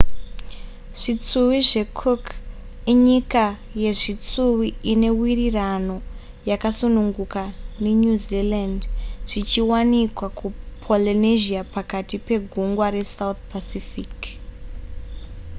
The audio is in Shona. zvitsuwi zvecook inyika yezvitsuwi ine wirirano yakasununguka nenew zealand zvichiwanikwa kupolynesia pakati pegungwa resouth pacific